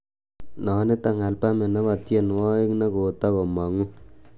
noniton albamit nebo tienywogik negotogomomg'u